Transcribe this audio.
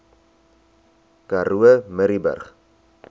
karoo murrayburg